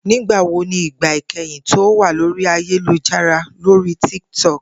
Nigbawo ni igba ikẹhin ti o wa lori ayelujara lori Tik Tok?